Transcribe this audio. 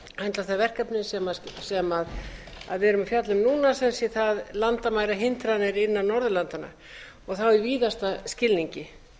höndla það verkefni sem við erum að fjalla um núna sem sé það landamærahindranir innan norðurlandanna og það í víðasta skilningi